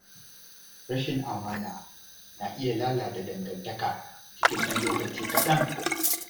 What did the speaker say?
Rashin amana na iya lalata dangantaka cikin ɗan lokaci kaɗan.